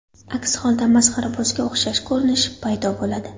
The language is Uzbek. Aks holda masxarabozga o‘xshash ko‘rinish paydo bo‘ladi.